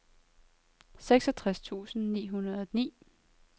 seksogtres tusind ni hundrede og ni